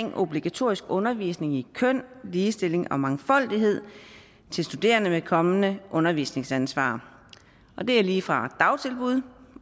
om obligatorisk undervisning i køn ligestilling og mangfoldighed til studerende med kommende undervisningsansvar og det er lige fra dagtilbud